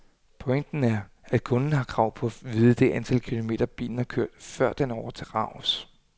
Pointen er, at kunden har krav på at vide det antal kilometer, bilen har kørt, før den overdrages.